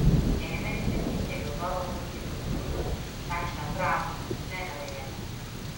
Ena izmed njih je gotovo multikulturnost, takšna prava, ne narejena.